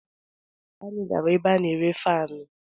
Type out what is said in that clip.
Arọ gara aga, anyị gara ebe a na-ere faanụ.